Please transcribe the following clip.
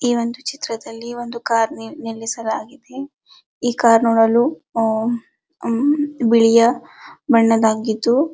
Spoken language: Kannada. ಈ ಒಂದು ಚಿತ್ರದಲ್ಲಿ ಈ ಒಂದು ಕಾರ್ ನಿಲ್ಲಿಸಲಾಗಿದೆ ಈ ಕಾರ್ ನೋಡಲು ಅಂ ಅಂ ಬಿಳಿಯ ಬಣ್ಣದ್ದಾಗಿದ್ದು--